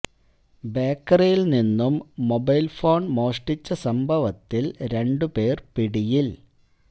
ബേക്കറിയിൽ നിന്നും mobile phone മോഷ്ടിച്ച സംഭവത്തിൽ രണ്ടു പേർ പിടിയിൽ